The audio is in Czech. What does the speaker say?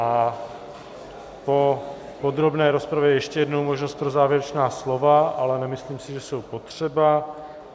A po podrobné rozpravě je ještě jednou možnost pro závěrečná slova, ale nemyslím si, že jsou potřeba.